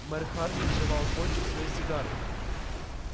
мэр хардин жевал кончик своей сигары